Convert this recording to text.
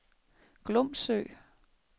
Glumsø